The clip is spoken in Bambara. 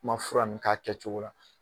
N'i ma fura ninnu k'a kɛ cogo la.